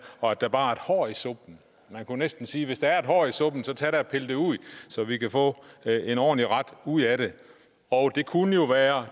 og at der bare er et hår i suppen man kunne næsten sige at hvis der er et hår i suppen så tag da og pil det ud så vi kan få en ordentlig ret ud af det og det kunne jo være